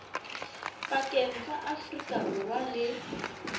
pakeng tsa afrika borwa le